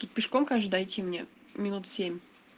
тут пешком конечно дойти мне минут семь